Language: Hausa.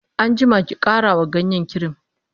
an jima ki ƙara wa ganyen kirim!